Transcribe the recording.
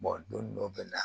don dɔw bɛ na